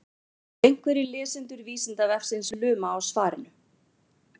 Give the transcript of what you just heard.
ef einhverjir lesendur vísindavefsins luma á svarinu